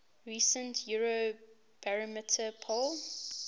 recent eurobarometer poll